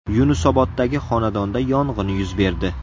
Yunusoboddagi xonadonda yong‘in yuz berdi.